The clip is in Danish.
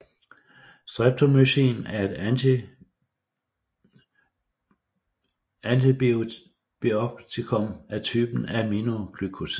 Streptomycin er et antibiotikum af typen aminoglykosid